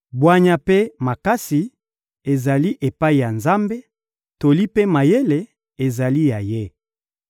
Bwanya mpe makasi ezali epai ya Nzambe, toli mpe mayele ezali ya Ye.